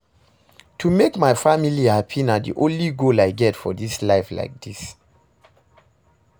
To make my family happy na the only goal I get for dis life like dis